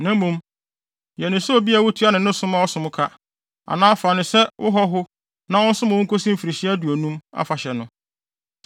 na mmom, yɛ no sɛ obi a wutua no ne som a ɔsom ho ka, anaa fa no sɛ wo hɔho na ɔnsom wo nkosi Mfirihyia Aduonum Afahyɛ no.